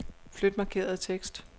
Flyt markerede tekst.